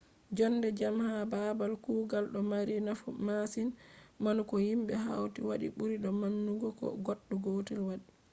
jonde jam ha baabal kugal ɗo mari nafu masin manu ko himɓe hauti wadi ɓuri do manugo ko goɗɗo gotel waɗi